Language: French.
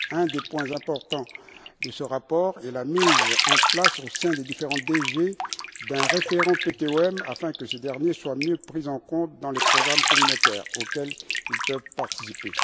Un des points importants de ce rapport, est la mise en place au sein des différentes DG d'un référent PTOM qui doit permettre que ce dernier soit mieux pris en compte dans les programmes communautaires auxquels ils peuvent participer.